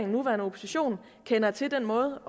nuværende opposition kender til den måde